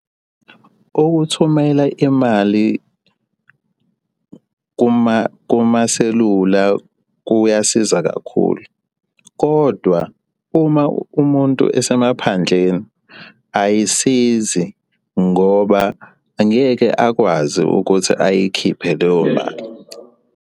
Ukuthumela imali kumaselula kuyasiza kakhulu, kodwa uma umuntu esemaphandleni ayisizi ngoba angeke akwazi ukuthi ayikhiphe leyo mali.